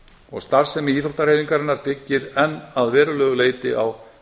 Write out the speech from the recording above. og starfsemi íþróttahreyfingarinnar byggir enn að verulegu leyti á